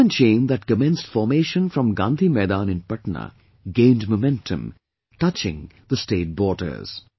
The human chain that commenced formation from Gandhi Maidan in Patna gained momentum, touching the state borders